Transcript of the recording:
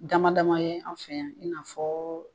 Damadama ye an fɛ yan i n'a fɔ